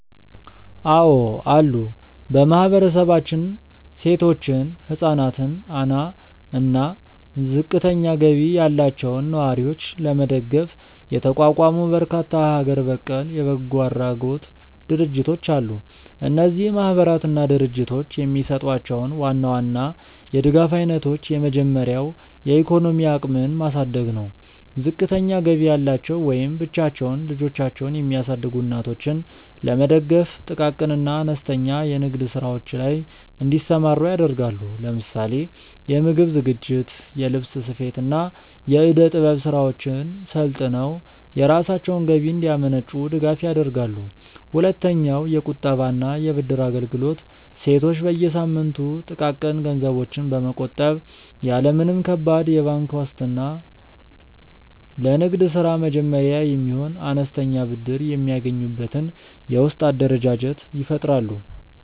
አዎ አሉ። በማህበረሰባችን ሴቶችን፣ ህፃናትን አና እና ዝቅተኛ ገቢ ያላቸውን ነዋሪዎች ለመደገፍ የተቋቋሙ በርካታ ሀገር በቀል የበጎ አድራጎት ድርጅቶች አሉ። እነዚህ ማህበራትና ድርጅቶች የሚሰጧቸውን ዋና ዋና የድጋፍ አይነቶች የመጀመሪያው የኢኮኖሚ አቅምን ማሳደግ ነው። ዝቅተኛ ገቢ ያላቸው ወይም ብቻቸውን ልጆቻቸውን የሚያሳድጉ እናቶችን ለመደገፍ ጥቃቅን እና አነስተኛ የንግድ ስራዎች ላይ እንዲሰማሩ ያደርጋሉ። ለምሳሌ የምግብ ዝግጅት፣ የልብስ ስፌት፣ እና የእደ-ጥበብ ስራዎችን ሰልጥነው የራሳቸውን ገቢ እንዲያመነጩ ድጋፍ ያደርጋሉ። ሁለተኛውየቁጠባ እና የብድር አገልግሎት ሴቶች በየሳምንቱ ጥቃቅን ገንዘቦችን በመቆጠብ፣ ያለ ምንም ከባድ የባንክ ዋስትና ለንግድ ስራ መጀመሪያ የሚሆን አነስተኛ ብድር የሚያገኙበትን የውስጥ አደረጃጀት ይፈጥራሉ።